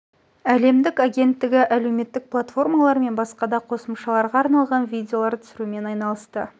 әлемдік агенттігі әлеуметтік платформалар мен басқа да қосымшаларға арналған видеолар түсірумен айналысты